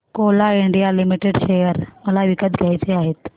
Coal India Limited share मला विकत घ्यायचे आहेत